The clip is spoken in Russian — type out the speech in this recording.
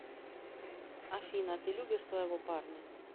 афина ты любишь своего парня